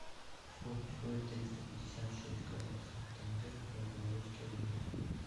сколько стоит триста пятьдесят шесть казахских тенге в белорусские рубли